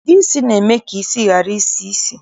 Ude isi na-eme ka isi ghara isi ísì